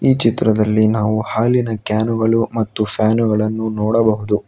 ಈ ಚಿತ್ರದಲ್ಲಿ ನಾವು ಹಾಲಿನ ಕ್ಯಾನುಗಳು ಮತ್ತು ಫ್ಯಾನುಗಳನ್ನು ನೋಡಬಹುದು.